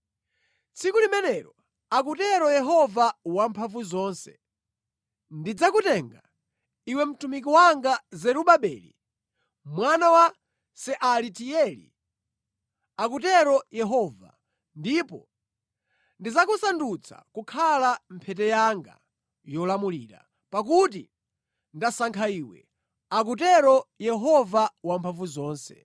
“ ‘Tsiku limenelo,’ akutero Yehova Wamphamvuzonse, ‘ndidzakutenga, iwe mtumiki wanga Zerubabeli mwana wa Sealatieli,’ akutero Yehova, ‘ndipo ndidzakusandutsa kukhala mphete yanga yolamulira, pakuti ndasankha iwe,’ akutero Yehova Wamphamvuzonse.”